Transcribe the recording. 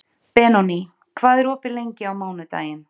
Benóný, hvað er opið lengi á mánudaginn?